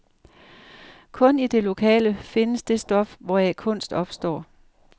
Kun i det lokale findes det stof, hvoraf kunst opstår.